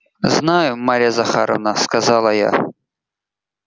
знаю марья захаровна сказала я